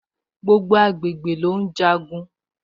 Gbogbo agbègbè ló ùn jagun